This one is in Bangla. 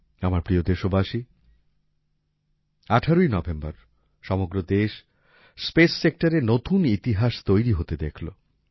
আমার প্রিয় দেশবাসী ১৮ই নভেম্বর সমগ্র দেশ স্পেস Sectorএ নতুন ইতিহাস তৈরি হতে দেখলো